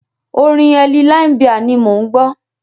Orin Elle Limebear ni mò ń gbọ́.